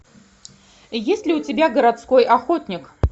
есть ли у тебя городской охотник